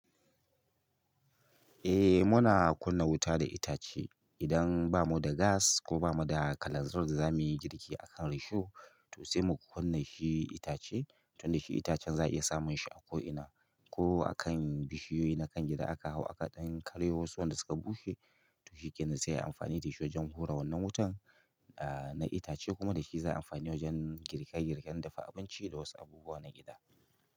Eh muna kunna wuta da itace idan bamu da gas ko bamu da kalanzir da za muyi girki akan risho to sai mu kunna shi itace tun da shi itacen za a iya samun shi a ko ina ko akan bishiyoyi na kan gida aka hau a kaɗan karyo wasu wanda suka bushe, to shi ke nan sai yi amfani da shi wajen hura wannan wutan, na itace kuma dashi za ayi amfani wajen girke-girken dafa abinci da wasu abubuwa na gida.